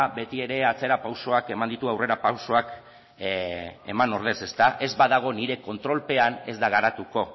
ba betiere atzerapausoak eman ditu aurrerapausoak eman ordez ez badago nire kontrolpean ez da garatuko